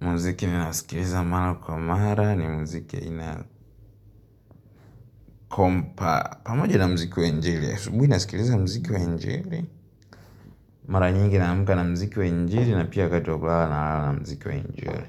Muziki ninaosikiliza mara kwa mara ni muziki wa aina ya kompa. Pamoja na mziki wa injili asubuhi nasikiliza muziki wa injili. Mara nyingi naamka na muziki wa injili na pia wakati wa kulala nalala na mziki wa injili.